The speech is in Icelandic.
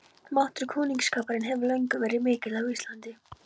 Máttur kunningsskaparins hefur löngum verið mikill á Íslandi.